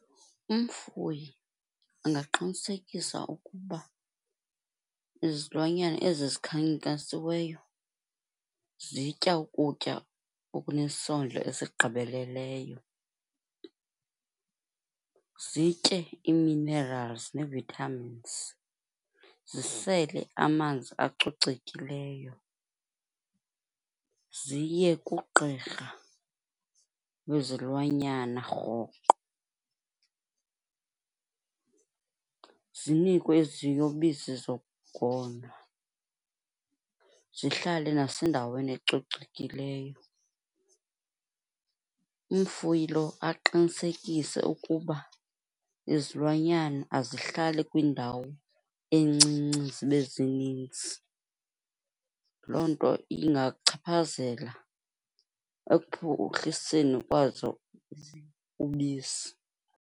Umfuyi angaqinisekisa ukuba izilwanyana ezi zikhankasiweyo zitya ukutya okunesondlo esigqibeleleyo. Zitye ii-minerals nee-vitamins, zisele amanzi acocekileyo, ziye kugqirha wezilwanyana rhoqo, zinikwe iziyobisi zokugonwa, zihlale nasendaweni ecocekileyo. Umfuyi lo aqinisekise ukuba izilwanyana azihlali kwindawo encinci zibe zininzi, loo nto ingachaphazela ekuphuhliseni kwazo ubisi.